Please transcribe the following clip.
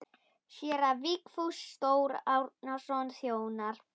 Séra Vigfús Þór Árnason þjónar.